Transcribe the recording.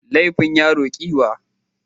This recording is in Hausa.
Laifin yaro kiwiya.